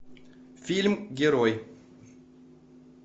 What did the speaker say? фильм герой